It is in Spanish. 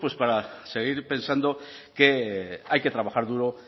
pues para seguir pensando que hay que trabajar duro